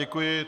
Děkuji.